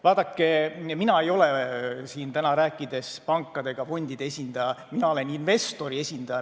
Vaadake, mina ei ole siin täna rääkides pankade ega fondide esindaja, mina olen investori esindaja.